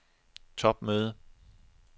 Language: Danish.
topmøde